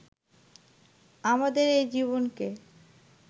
আমাদের এই জীবনকে